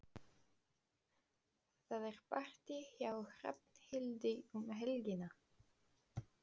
Það er partí hjá Hrafnhildi um helgina.